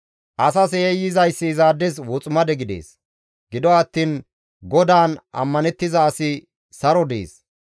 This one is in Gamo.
Asas yayyizayssi izaades woximade gidees; gido attiin GODAAN ammanettiza asi saron de7ees.